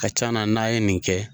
Ka ca na n'a ye nin kɛ